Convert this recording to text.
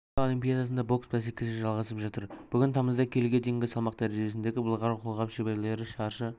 рио олимпиадасында бокс бәсекесі жалғасып жатыр бүгін тамызда келіге дейінгі салмақ дәрежесіндегі былғары қолғап шеберлері шаршы